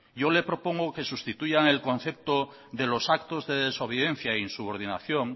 yo le propongo que sustituyan el concepto de los actos de desobediencia e insubordinación